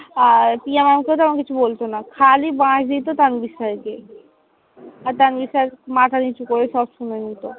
আর Piya maam কেওতেমন কিছু বলতো না, খালি বাঁশ দিতো তানভীর sir কেই। আর তানভীর sir মাথা নিচু করে সব শুনে নিতো।